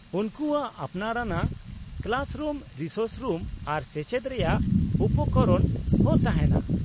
-ᱩᱱᱠᱩᱣᱟᱜ ᱟᱯᱱᱟᱨ ᱟᱱᱟᱜ ᱠᱞᱟᱥᱨᱩᱢ, ᱨᱤᱥᱳᱨᱥ ᱨᱩᱢ ᱟᱨ ᱪᱮᱪᱮᱫ ᱨᱮᱭᱟᱜ ᱩᱯᱚᱠᱚᱨᱚᱱ ᱦᱚᱸ ᱛᱟᱦᱮᱱᱟ ᱾